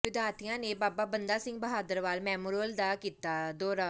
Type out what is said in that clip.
ਵਿਦਿਆਰਥੀਆਂ ਨੇ Baba Banda Singh Bahadur war memorial ਦਾ ਕੀਤਾ ਦੌਰਾ